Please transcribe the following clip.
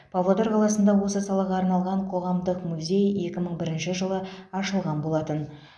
павлодар қаласында осы салаға арналған қоғамдық музей екі мың бірінші жылы ашылған болатын